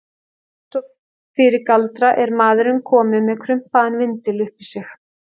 Og eins og fyrir galdra er maðurinn kominn með krumpaðan vindil upp í sig.